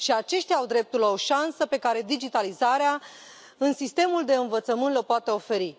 Și aceștia au dreptul la o șansă pe care digitalizarea în sistemul de învățământ le o poate oferi.